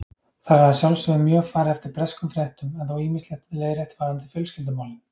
Þar er að sjálfsögðu mjög farið eftir breskum fréttum en þó ýmislegt leiðrétt varðandi fjölskyldumálin